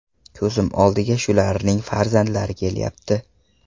Ko‘zim oldiga shularning farzandlari kelyapti.